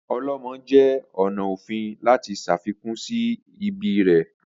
Olomo jẹ ọna ofin lati ṣafikun si ẹbi rẹ